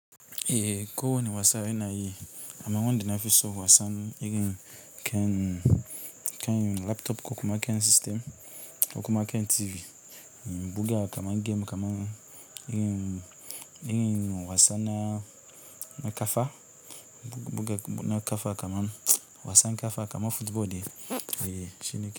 Eh ko wani wasa yana yi, amma wanda na fi so wasa irin kan, kan laptop ko kuma kan system, ko kuma kan TV, in buga kaman game kaman in, in wasa na. Na ƙafa, buga na ƙafa kaman wasan ƙafa kaman football dai eh shine.